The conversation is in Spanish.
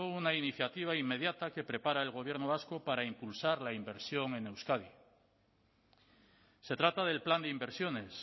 una iniciativa inmediata que prepara el gobierno vasco para impulsar la inversión en euskadi se trata del plan de inversiones